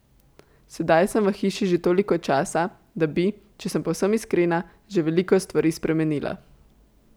Sedaj sem v hiši že toliko časa, da bi, če sem povsem iskrena, že veliko stvari spremenila.